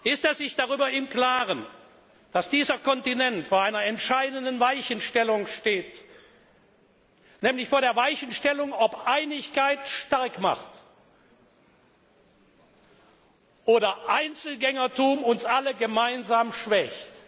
Ist er sich darüber im Klaren, dass dieser Kontinent vor einer entscheidenden Weichenstellung steht, nämlich vor der Weichenstellung, ob Einigkeit stark macht, oder ob Einzelgängertum uns alle gemeinsam schwächt.